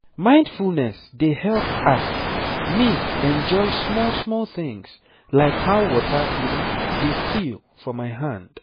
mindfulness dey help ah me enjoy small-small things like how water dey feel for my hand